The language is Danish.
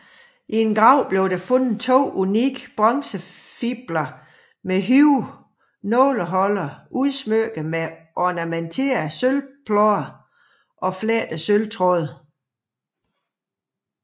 I en grav blev der fundet to unikke bronzefibler med høje nåleholdere udsmykket med ornamenterede sølvplader og flettede sølvtråde